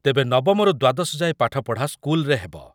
ତେବେ ନବମରୁ ଦ୍ୱାଦଶ ଯାଏ ପାଠପଢ଼ା ସ୍କୁଲରେ ହେବ।